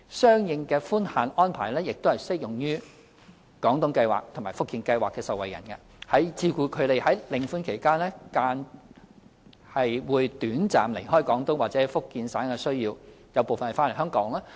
相應的寬限安排亦適用於"廣東計劃"和"福建計劃"的受惠人，以照顧他們在領款期間短暫離開廣東或福建省的需要，而部分人是回來香港的。